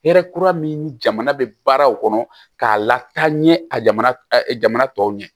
Hɛrɛ kura min jamana bɛ baaraw kɔnɔ k'a lataaɲɛ a jamana tɔw ɲɛ